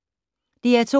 DR2